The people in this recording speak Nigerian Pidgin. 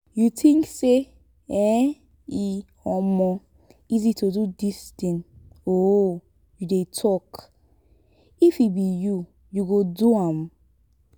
you think say um e um easy to do dis thing um you dey talk? if e be you you go do am?